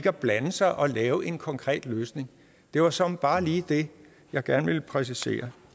at blande sig at lave en konkret løsning det var såmænd bare lige det jeg gerne ville præcisere